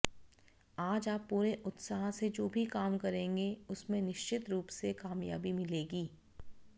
आज आप पूरे उत्साह से जो भी काम करेंगे उसमें निश्चित रूप से कामयाबी मिलेगी